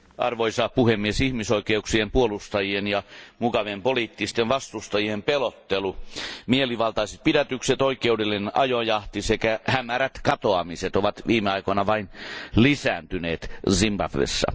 Arvoisa puhemies, ihmisoikeuksien puolustajien ja Mugaben poliittisten vastustajien pelottelu, mielivaltaiset pidätykset, oikeudellinen ajojahti sekä hämärät katoamiset ovat viime aikoina vain lisääntyneet Zimbabwessa.